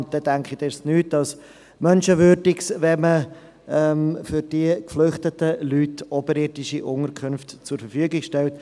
Ich denke, es ist nicht mehr als menschenwürdig, wenn man für diese Leute oberirdische Unterkünfte zu Verfügung stellt.